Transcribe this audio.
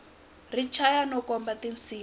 ri chaya no khoma tinsimu